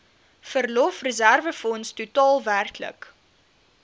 verlofreserwefonds totaal werklik